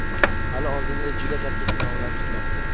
Hali oldinda juda katta sinovlar kutmoqda.